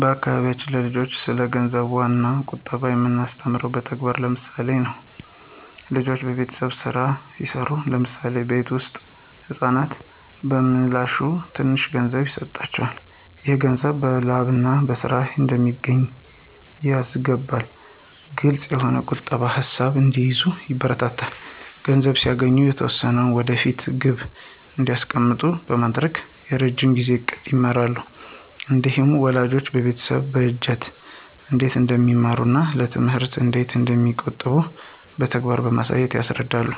በአካባቢያችን ለልጆች ስለ ገንዘብ ዋጋና ቁጠባ የምናስተምረው በተግባርና በምሳሌ ነው። ልጆች የቤተሰብ ሥራዎችን ሲሠሩ (ለምሳሌ የቤት ውስጥ ንፅህና) በምላሹ ትንሽ ገንዘብ ይሰጣቸዋል። ይህ ገንዘብ በላብና በሥራ እንደሚገኝ ያስገነዝባል። ግልፅ የሆነ ቁጠባ ሣጥን እንዲይዙ ይበረታታሉ። ገንዘብ ሲያገኙ የተወሰነውን ለወደፊት ግብ እንዲያስቀምጡ በማድረግ የረዥም ጊዜ ዕቅድን ይማራሉ። እንዲሁም ወላጆች የቤተሰብ በጀትን እንዴት እንደሚመሩና ለትምህርት እንዴት እንደሚቆጥቡ በተግባር በማሳየት ያስረዳሉ።